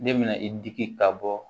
Ne bɛna i digi ka bɔ